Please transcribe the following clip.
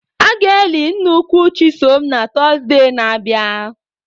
A ga-eli nne nkwụ Chisom na Tọzdee na abia.